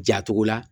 Jatogo la